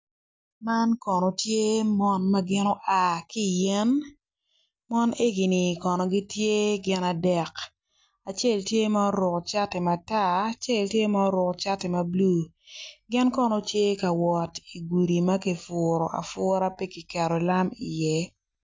Man kono tye mon ma gin gua ki i yen mon eni kono gitye gin adek acel tye ma oruko cati ma tar acel tye ma oruko cati ma bulu gin kono gitye ka wot i gudi ma kipuru apura pe kiketo lam iye.